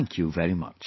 Thank you very much